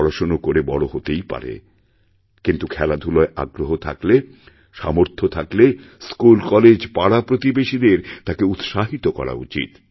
পড়াশোনা করে বড় হতেই পারে কিন্তু খেলাধুলায় আগ্রহ থাকলে সামর্থ্যথাকলে স্কুলকলেজপাড়াপ্রতিবেশীদের তাকে উৎসাহিত করা উচিত